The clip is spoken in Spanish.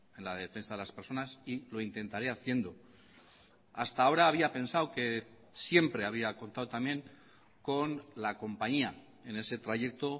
en la defensa de las personas y lo intentaré haciendo hasta ahora había pensado que siempre había contado también con la compañía en ese trayecto